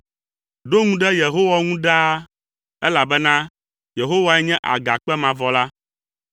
Ɖo ŋu ɖe Yehowa ŋu ɖaa, elabena Yehowae nye Agakpe mavɔ la.